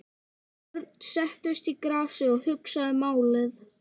Örn settist í grasið og hugsaði málið.